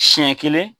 Siɲɛ kelen